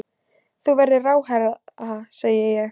Þú verður ráðherra, segi ég.